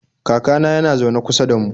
Kakana yana zaune kusa da mu.